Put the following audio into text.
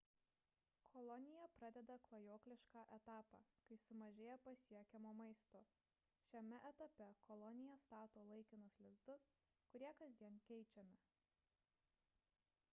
kolonija pradeda klajoklišką etapą kai sumažėja pasiekiamo maisto šiame etape kolonija stato laikinus lizdus kurie kasdien keičiami